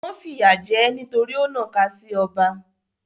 Wọ́n fìyà jẹ ẹ́ nítorí ó nàka sí ọba.